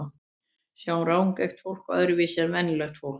Sjá rangeygt fólk öðruvísi en venjulegt fólk?